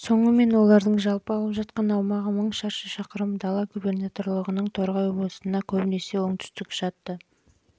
соңы мен олардың жалпы алып жатқан аумағы мың шаршы шақырым дала губернаторлығының торғай облысына көбінесе оңтүстік